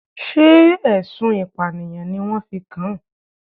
Sé ẹ̀sùn ìpànìyàn ni wọ́n fi kan?